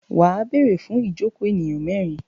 Wà á béèrè fún ìjokòó ènìyàn mẹ́rin.